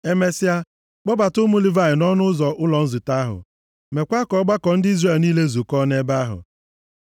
Emesịa, kpọbata ụmụ Livayị nʼọnụ ụzọ ụlọ nzute ahụ. Meekwa ka ọgbakọ ndị Izrel niile zukọọ nʼebe ahụ.